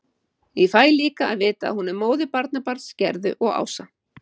Ég fæ líka að vita að hún er móðir barnabarns Gerðu og Ása.